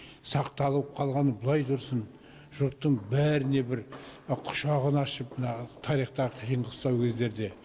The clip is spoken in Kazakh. сақталып қалғаны былай тұрсын жұрттың бәріне бір құшағын ашып мына тарихтағы қиын қыстау кездерде